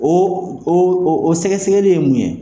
O o sɛgɛsɛgɛli ye mun ye ?